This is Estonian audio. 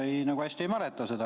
Ma nagu hästi ei mäleta seda.